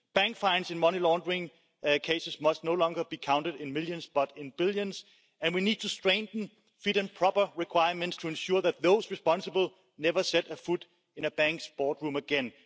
Bank fines in money laundering cases must no longer be counted in millions, but in billions. And we need to strengthen fit and proper requirements to ensure that those responsible never set foot in a bank boardroom again.